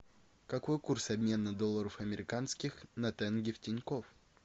какой курс обмена долларов американских на тенге в тинькофф